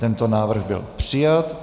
Tento návrh byl přijat.